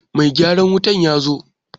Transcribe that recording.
Mai gyaran wutan ya zo.